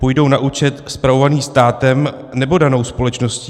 Půjdou na účet spravovaný státem, nebo danou společností?